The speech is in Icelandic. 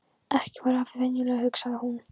Ekki var afi venjulegur, hugsaði hún.